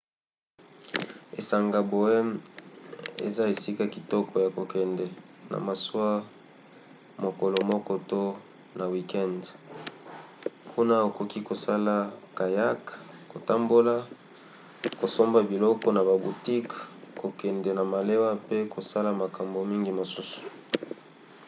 esanga bowen eza esika kitoko ya kokende na masuwa mokolo moko to na wikende; kuna okoki kosala kayak kotambola kosomba biloko na ba boutiques kokende na malewa pe kosala makambo mingi mosusu